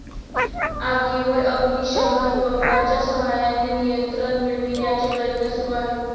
आगीवर अग्नीशमन बंबाच्या सहाय्याने नियंत्रण मिळविण्याचे प्रयत्न सुरु आहेत.